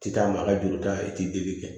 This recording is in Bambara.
Ti taama a ka juru ta i ti deli kɛ